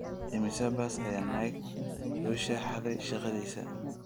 Immisa bas ayuu Nick Swisher xaday shaqadiisa?